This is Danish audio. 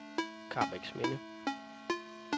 Karrebæksminde